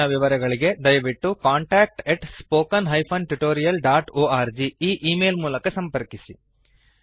ಹೆಚ್ಚಿನ ವಿವರಗಳಿಗೆ ದಯವಿಟ್ಟು contactspoken tutorialorg e email ಮೂಲಕ ಸಂಪರ್ಕಿಸಿ